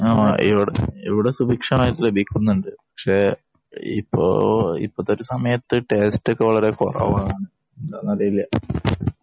ഇവിടെ സുഭിക്ഷമായി ലഭിക്കുന്നുണ്ട് പക്ഷെ ഇപ്പോളത്തെ സമയത്തു ടേസ്റ്റ് ഒക്കെ വളരെ കുറവാണ് എന്താണെന്നറിയില്ല